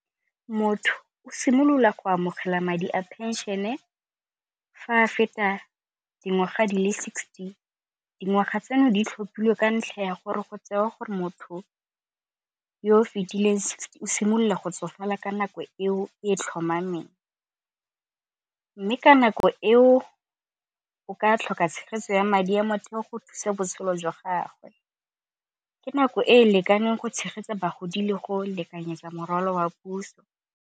Motho o simolola go amogela madi a phenšene fa a feta dingwaga di le sixty. Dingwaga tseno di tlhophilwe ka ntlha ya gore go tsewa gore motho yoo fetileng o simolola go tsofala ka nako eo e tlhomameng, mme ka nako eo o ka tlhoka tshegetso ya madi a motheo go thusa botshelo jwa gagwe. Ke nako e lekaneng go tshegetsa bagodi le go lekanyetsa morwalo wa puso.